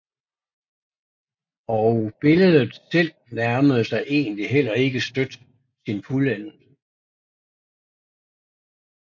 Og billedet selv nærmede sig egentlig heller ikke støt sin fuldendelse